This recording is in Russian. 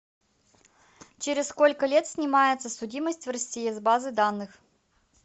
через сколько лет снимается судимость в россии с базы данных